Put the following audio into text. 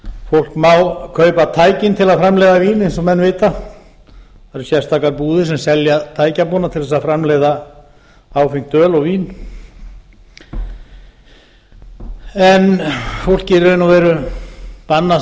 fólk má kaupa tækin til að framleiða vín eins og menn vita það eru sérstakar búðir sem selja tækjabúnað til þess að framleiða áfengt öl og vín en fólki er í raun og veru bannað